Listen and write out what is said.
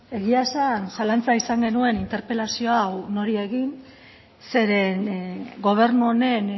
egia esan zalantza izan genuen interpelazio hau nori egin zeren gobernu honen